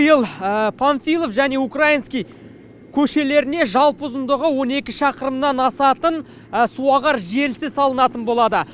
панфилов және украинский көшелеріне жалпы ұзындығы он екі шақырымнан асатын суағар желісі салынатын болады